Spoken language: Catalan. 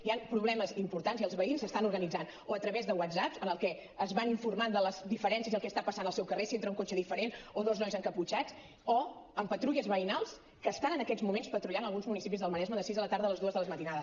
hi han problemes importants i els veïns s’estan organitzant o a través de whatsapps amb els que es van informant de les diferències i el que està passant al seu carrer si entra un cotxe diferent o dos nois encaputxats o en patrulles veïnals que estan en aquests moments patrullant a alguns municipis del maresme de sis de la tarda a les dues de la matinada